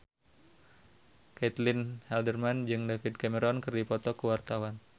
Caitlin Halderman jeung David Cameron keur dipoto ku wartawan